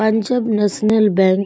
Punjab National Bank.